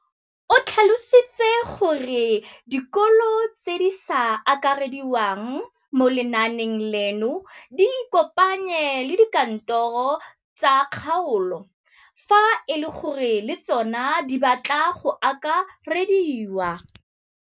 O tlhalositse gore dikolo tse di sa akarediwang mo lenaaneng leno di ikopanye le dikantoro tsa kgaolo fa e le gore le tsona di batla go akarediwa.